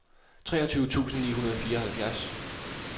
treogtyve tusind ni hundrede og fireoghalvfjerds